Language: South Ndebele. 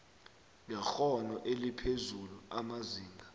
ngekghono eliphezulu amazinga